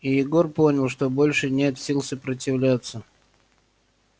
и егор понял что больше нет сил сопротивляться